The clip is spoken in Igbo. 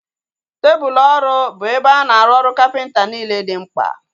Tebụlu ọrụ bụ ebe a na-arụ ọrụ kapịnta niile dị mkpa